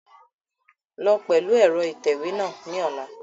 Lọ pẹlu ẹrọ itẹwe náa ni ọla!